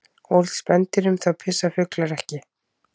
Ólíkt spendýrum þá pissa fuglar ekki.